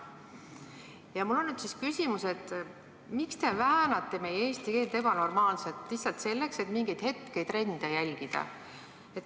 Ja mul on nüüd küsimus: miks te väänate meie eesti keelt ebanormaalselt lihtsalt selleks, et mingeid hetketrende järgida?